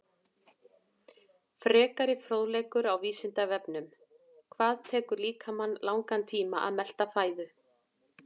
Frekari fróðleikur á Vísindavefnum: Hvað tekur líkamann langan tíma að melta fæðu?